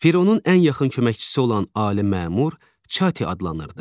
Fironun ən yaxın köməkçisi olan ali məmur Çati adlanırdı.